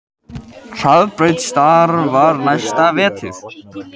Hraðbraut starfar næsta vetur